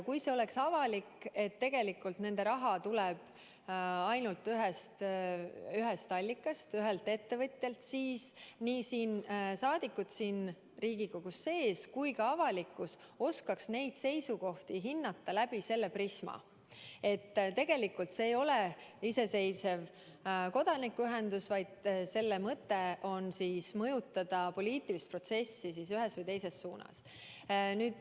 Kui see oleks avalik, et tegelikult nende raha tuleb ainult ühest allikast, ühelt ettevõtjalt, siis oskaksid nii rahvasaadikud siin Riigikogus kui ka avalikkus neid seisukohti hinnata läbi selle prisma, et see ei ole iseseisev kodanikuühendus, vaid selle mõte on mõjutada poliitilist protsessi ühes või teises suunas.